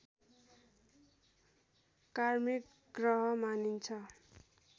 कार्मिक ग्रह मानिन्छ